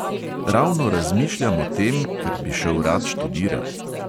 Ravno razmišljam o tem, ker bi šel rad študirat.